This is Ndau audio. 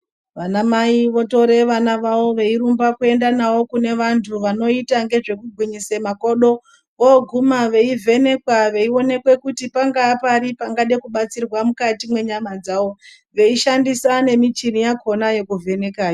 Vana mai votora vana vavo veirumba kuenda nawo kune vantu vanoita nezvekugwinyisa makodo vogumabveivhenekwa veionekwa kuti nepari pangada kubatsirwa mukati menyama dzawo veishandisa michini yacho yekuvheneka.